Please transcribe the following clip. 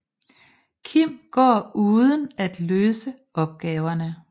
Kim går uden at løse opgaverne